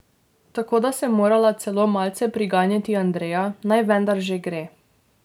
Tako da sem morala celo malce priganjati Andreja, da naj vendar že gre.